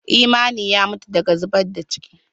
Imani ya mutu daga zubar da ciki.